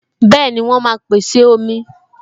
Bẹẹni, wọn máa pèsè omi.